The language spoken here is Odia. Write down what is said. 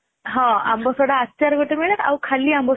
ହଁ ଆମ୍ଭ ସୋଢା ଆଚାର ଗୋଟେ ମିଳେ ଆଉ ଖାଲି ଆମ୍ବ ସୋଢା